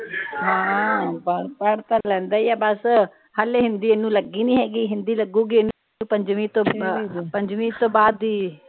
ਹਾਂ ਆ ਪੜ੍ਹ ਤਾ ਲੈਂਦਾ ਈਆ ਬਸ ਹਲੇ ਹਿੰਦੀ ਇਹਨੂੰ ਲੱਗੀ ਨਹੀਂ ਹੇਗੀ ਹਿੰਦੀ ਲੱਗੂਗੀ ਇਹਨੂੰ ਪੰਜਵੀ ਤੋਂ ਬਾਅਦ ਪੰਜਵੀ ਤੋਂ ਬਾਅਦ ਈ।